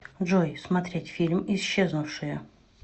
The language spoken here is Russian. джой смотреть фильм исчезнувшие